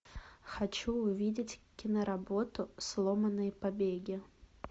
хочу увидеть киноработу сломанные побеги